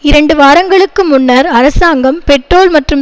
இரண்டு வாரங்களுக்கு முன்னர் அரசாங்கம் பெட்ரோல் மற்றும்